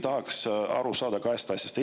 Tahaks aru saada kahest asjast.